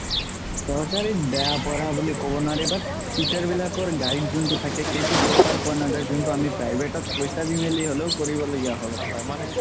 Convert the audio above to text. চৰকাৰিত বেয়া পঢ়োৱা বুলি ক'ব নোৱাৰি but teacher বিলাকৰ guide যোনটো থাকে সেইটো proper পুৱা নাজাই যোনতো আমি private ত পইচা দি মেলি হ'লেও কৰিব লগিয়া হয়